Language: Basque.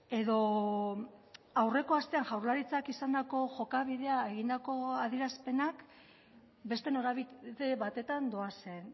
edo aurreko astean jaularitzak izandako jokabidea egindako adierazpenak beste norabide batetan doazen